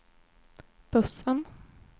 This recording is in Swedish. bussen